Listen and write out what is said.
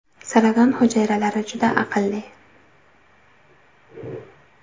Saraton hujayralari juda aqlli.